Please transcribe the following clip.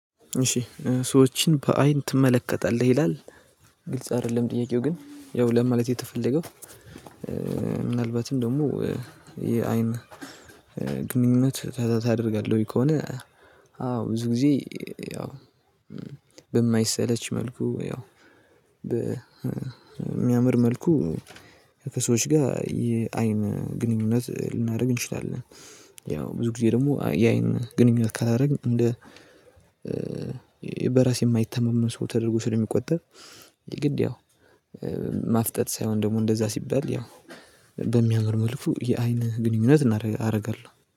እሺ ሰዎችን በአይን ትመለከታለህ ይላል ግልጽ አይደለም ጥያቄው ግን ያው ለማለት የተፈለገው። ምናልባትም ደግሞ የአይን ግንኙነት ታደርጋለህ ከሆነ አዎ ብዙ ጊዜ ያው በማይሰለች መልኩ ያው በሚያምር መልኩ ከሰዎች ጋር የአይን ግንኙነት ልናደርግ እንችላለን። ያው ብዙ ጊዜ ደግሞ የአይን ግንኙነት ካላደረግን እንደ በራሴ የማይተማመን ሰው ተደርጎ ስለሚቆጠር። የግድ ያው ማፍጠጥ ሳይሆን ደግሞ እንደዛ ሲባል ያው በሚያምር መልኩ የአይን ግንኙነት አደርጋለሁ